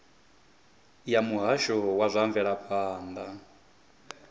ya muhasho wa zwa mvelaphanda